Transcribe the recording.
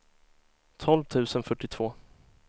tolv tusen fyrtiotvå